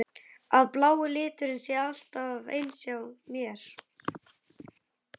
Að blái liturinn sé alltaf eins hjá mér?